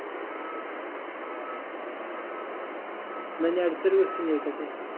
ന്നാ ഞാൻ അടുത്തൊരു question ചോയിക്കട്ടെ